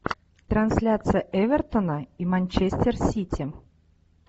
трансляция эвертона и манчестер сити